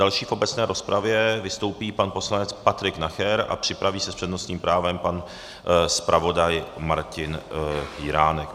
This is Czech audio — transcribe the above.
Další v obecné rozpravě vystoupí pan poslanec Patrik Nacher a připraví se s přednostním právem pan zpravodaj Martin Jiránek.